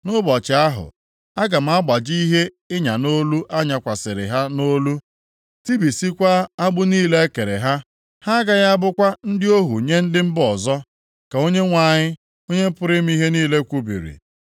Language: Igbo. “ ‘Nʼụbọchị ahụ,’ ‘aga m agbaji ihe ịnya nʼolu a nyakwasịrị ha nʼolu, tibisikwaa agbụ niile e kere ha. Ha agaghị abụkwa ndị ohu nye ndị mba ọzọ, ka Onyenwe anyị, Onye pụrụ ime ihe niile kwubiri.